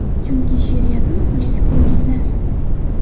Chunki, she’riyatni muxlislari ko‘ngillar.